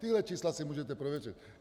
Tahle čísla si můžete prověřit.